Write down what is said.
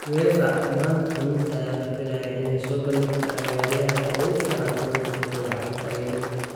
UEFA maanta Khamiista ayaa la filayaa inay soo bandhigto ciyaaryahanka ugu fiican sannadka kubadda cagta ee Yurub.